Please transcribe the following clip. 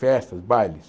festas, bailes.